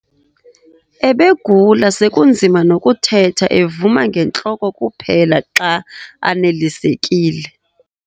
Ebegula sekunzima nokuthetha evuma ngentloko kuphela xa anelisekile.